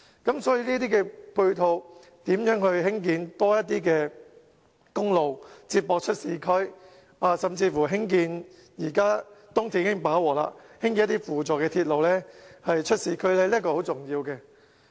所以，對於這些配套，如何興建更多公路接駁市區，甚至在目前東鐵已經飽和的情況下，興建一些輔助鐵路出市區，這是很重要。